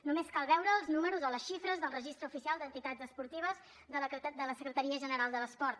només cal veure els números o les xifres del registre oficial d’entitats esportives de la secretaria general de l’esport